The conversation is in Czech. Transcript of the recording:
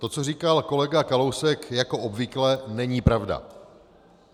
To, co říkal kolega Kalousek, jako obvykle není pravda.